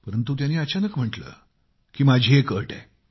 परंतु त्यांनी अचानक म्हटले परंतु माझी एक अट आहे